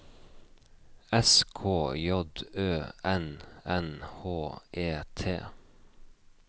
S K J Ø N N H E T